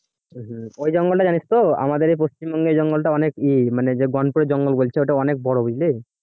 ওই জঙ্গলটা জানিস তো আমাদের পশ্চিমবঙ্গে জঙ্গলটা অনেক ই মানে যে জঙ্গল বলছে ওটা অনেক বড় বুঝলি?